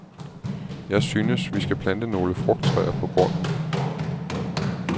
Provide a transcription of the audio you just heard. Jeg synes, vi skal plante nogle frugttræer på grunden.